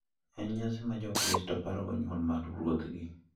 En nyasi ma jokristo parogo nyuol mar Ruodhgi.